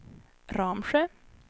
Ramsjö